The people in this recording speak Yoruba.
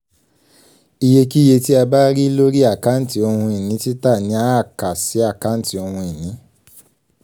iyekíye tí a bá rí lórí àkáǹtì ohun-ìní tita ni àá kà sí àkáǹtì ohun-ìní.